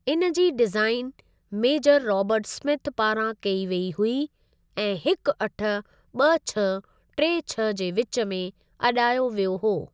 इन जी design major Robert Smith पारां कई वेई हुई ऐं हिकु अठ ॿ छह टे छह जे विच में अॾायो वियो हो।